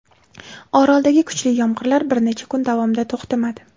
Oroldagi kuchli yomg‘irlar bir necha kun davomida to‘xtamadi.